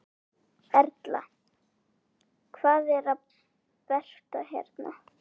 Erla: Hvað er betra hérna?